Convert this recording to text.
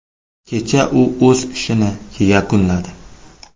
Kecha u o‘z ishini yakunladi.